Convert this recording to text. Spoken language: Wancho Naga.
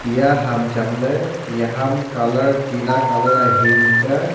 eya ham changle ia ham colour teena colour aa hingg ka.